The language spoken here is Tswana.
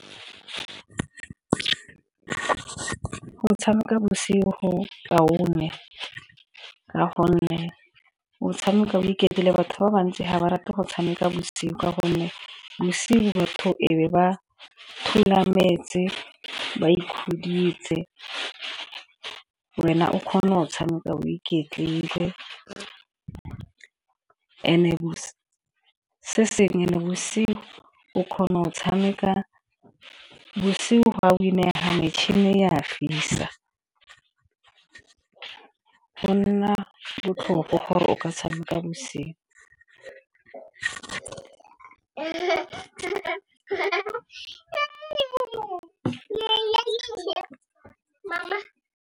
Go tshameka bosigo kaone ka gonne o tshameka o iketlile, batho ba bantsi ga ba rate go tshameka bosigo ka gonne bosigo batho e be ba thulametse ba ikhuditse. Wena o kgona go o tshameka o iketlile and-e bosigo o kgona go o tshameka bosigo o a win-ega metšhini e a fisa, go nna botlhokwa gore o ka tshameka bosigo.